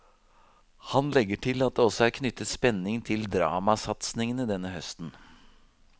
Han legger til at det også er knyttet spenning til dramasatsingene denne høsten.